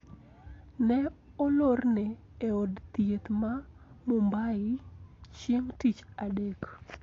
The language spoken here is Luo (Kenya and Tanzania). Ne olorne e od thieth ma Mumbai chieng` tich Adek